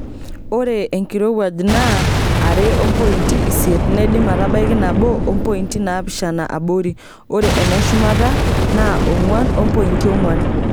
Ore enkirowuaj naa are ompointi isiet neidim atabaiki nabo ompointi naapishana abori ore eneshumata naa ongwan ompointi ongwan.